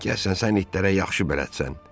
Gəlsən sən itlərə yaxşı bələdsən.